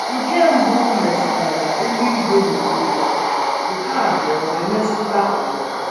Nke mbụ metụtara eluigwe n’onwe ya, nke abụọ emetụta ụwa.